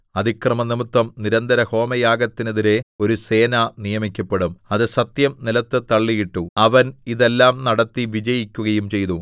അതിക്രമംനിമിത്തം നിരന്തരഹോമയാഗത്തിനെതിരെ ഒരു സേന നിയമിക്കപ്പെടും അത് സത്യം നിലത്ത് തള്ളിയിട്ടു അവൻ ഇതെല്ലാം നടത്തി വിജയിക്കുകയും ചെയ്യും